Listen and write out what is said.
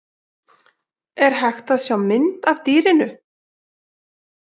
Er hægt að sjá mynd af dýrinu?